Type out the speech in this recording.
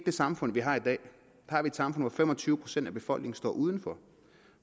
det samfund vi har i dag vi har et samfund hvor fem og tyve procent af befolkningen står uden for